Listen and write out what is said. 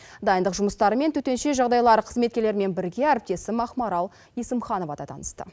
дайындық жұмыстарымен төтенше жағдайлар қызметкерлерімен бірге әріптесім ақмарал есімханова да танысты